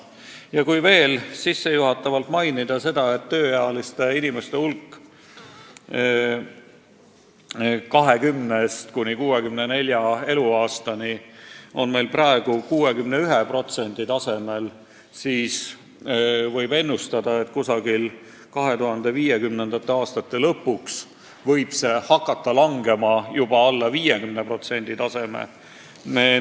Ja kui veel midagi sissejuhatavalt öelda, siis märgin, et tööealiste inimeste osakaal – pean silmas vanust 20–64 aastat – on meil praegu 61%, aga võib ennustada, et 2050. aastate lõpuks langeb see juba alla 50%.